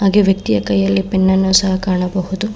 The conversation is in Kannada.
ಹಾಗೆ ವ್ಯಕ್ತಿಯ ಕೈಯಲ್ಲಿ ಪೆನ್ನನ್ನು ಸಹ ಕಾಣಬಹುದು.